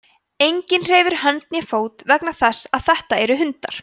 enginn hreyfir hönd né fót vegna þess að þetta eru hundar